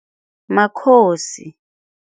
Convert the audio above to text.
Makhosi.